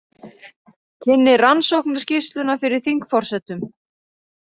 Kynnir rannsóknarskýrsluna fyrir þingforsetum